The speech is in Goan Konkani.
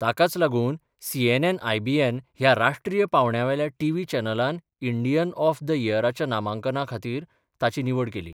ताकाच लागून सीएनएन आयबीएन ह्या राष्ट्रीय पावंड्यावेल्या टीव्ही चॅनलान इंडियन ऑफ द इयराच्या नामांकना खातीर ताची निवड केली.